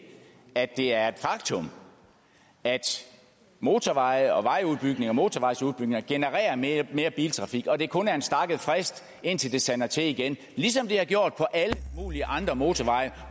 at det er et faktum at motorveje og motorvejsudbygninger genererer mere biltrafik og at det kun er en stakket frist indtil det sander til igen ligesom det har gjort på alle mulige andre motorveje